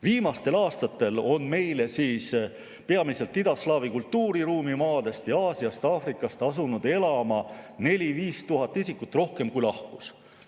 Viimastel aastatel on meile peamiselt idaslaavi kultuuriruumi maadest ning Aasiast ja Aafrikast asunud elama 4000–5000 isikut rohkem, kui siit on lahkunud.